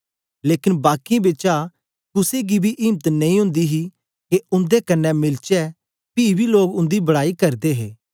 लेकन बाकीयें बिचा कुसे गी बी इम्त नेई ओंदी ही के उन्दे कन्ने मिलचै पी बी लोग उंदी बड़ाई करदे हे